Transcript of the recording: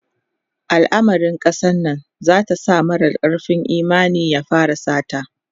alamarin kasar Nan zata sa mara karfin Imani ya fara sata